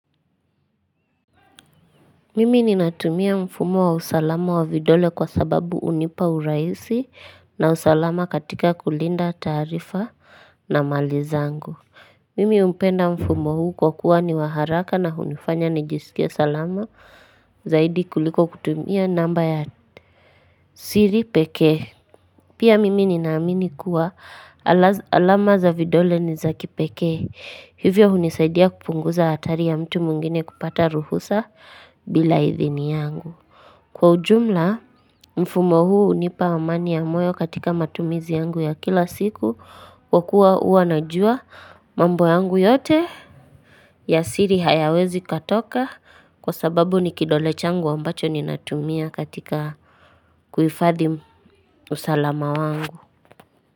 Mimi ninatumia mfumo wa usalama wa vidole kwa sababu unipa urahisi na usalama katika kulinda taarifa na mali zangu. Mimi umpenda mfumo huu kwa kuwa ni wa haraka na hunifanya nijisikie salama zaidi kuliko kutumia namba ya siri peke. Pia mimi ninaamini kuwa alama za vidole ni za kipeke. Hivyo hunisaidia kupunguza hatari ya mtu mwingine kupata ruhusa bila idhini yangu. Kwa ujumla mfumo huu unipa amani ya moyo katika matumizi yangu ya kila siku. Kwa kuwa ua najua mambo yangu yote ya siri hayawezi katoka. Kwa sababu ni kidole changu wambacho ni natumia katika kuhifadhi usalama wangu.